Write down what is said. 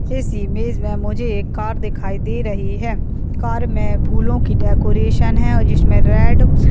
इस इमेज में मुझे एक कार दिखाई दे रही है कार में फूलों की डेकोरेशन है और जिसमें डेर --